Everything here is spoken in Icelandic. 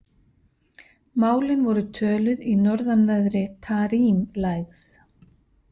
Málin voru töluð í norðanverðri Tarim-lægð.